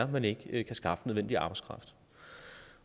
man ikke kan skaffe nødvendige arbejdskraft